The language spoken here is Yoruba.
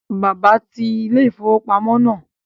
Bàbá ti ilé-ìfowópamọ́ náà